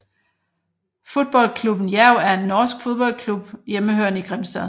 Fotballklubben Jerv er en norsk fodboldklub hjemmehørende i Grimstad